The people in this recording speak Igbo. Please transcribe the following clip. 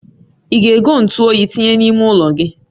I ga-ego ntu oyi tinye na-ime ụlo gị?